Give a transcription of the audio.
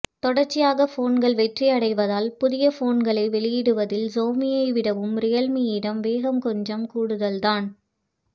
தொடர்ச்சியாக போன்கள் வெற்றியடைவதால் புதிய போன்களை வெளியிடுவதில் ஷியோமியை விடவும் ரியல்மீயிடம் வேகம் கொஞ்சம் கூடுதல்தான்